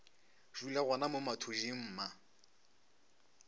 dula gona mo mathuding mma